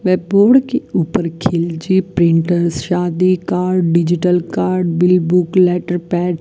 व बोर्ड के ऊपर खिलची प्रिंटर्स शादी card digital card bill book letter pad --